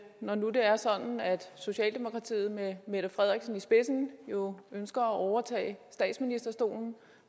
når nu det er sådan at socialdemokratiet med mette frederiksen i spidsen jo ønsker at overtage statsministerstolen